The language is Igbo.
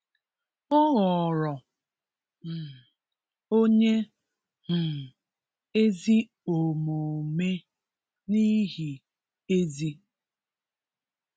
Ọghọrọ um onye um ezi omume n’ihi Ezi.